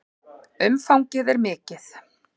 Umfangið er mikið.